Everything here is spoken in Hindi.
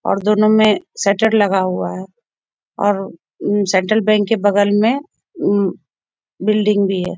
और दोनों में शटर लगा हुआ है और सेंट्रल बैंक के बगल में बिल्डिंग भी है।